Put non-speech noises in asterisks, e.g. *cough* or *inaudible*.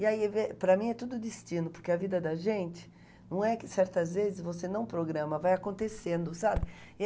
E aí, *unintelligible* para mim, é tudo destino, porque a vida da gente, não é que certas vezes você não programa, vai acontecendo, sabe?